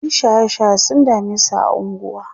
ƴan shaye shaye sun damesu a unguwa